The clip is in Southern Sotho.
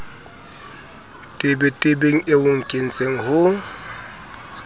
tebetebeng eo o nkentseng ho